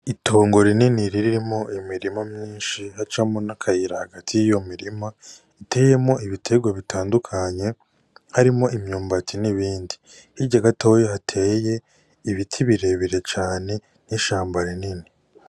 Itongo rinini ririmwo imirima myinshi, hacamwo n'akayira hagati y'iyo mirima iteyemwo ibiterwa bitandukanye harimwo imyumbati n'ibindi, hirya gatoya hateye ibiti birebire cane n'ishamba rinini.